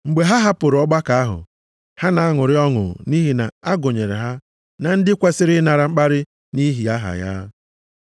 Mgbe ha hapụrụ ọgbakọ ahụ, ha na-aṅụrị ọṅụ nʼihi na-agụnyere ha na ndị kwesiri ịnara mkparị nʼihi aha ya.